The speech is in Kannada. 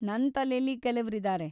ನನ್‌ ತಲೆಲಿ ಕೆಲವ್ರಿದಾರೆ.